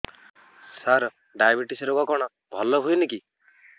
ସାର diabetes ରୋଗ କଣ ଭଲ ହୁଏନି କି